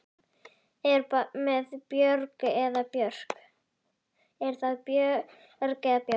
Er það Björg eða Björk?